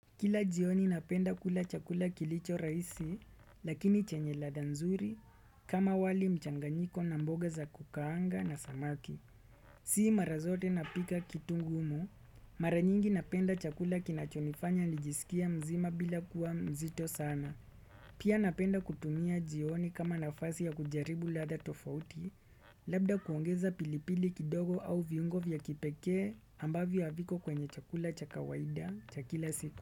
Kila jioni napenda kula chakula kilicho rahisi lakini chenye ladha nzuri kama wali mchanganyiko na mboga za kukaanga na samaki si mara zote napika kitu ngumu mara nyingi napenda chakula kinachonifanya nijiskie mzima bila kuwa mzito sana. Pia napenda kutumia jioni kama nafasi ya kujaribu ladha tofauti labda kuongeza pilipili kidogo au viungo vya kipekee ambavyo haviko kwenye chakula cha kawaida cha kila siku.